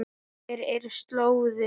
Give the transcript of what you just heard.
Hver er slóðin?